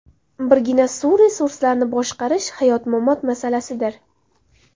Birgina suv resurslarini boshqarish hayot-mamot masalasidir.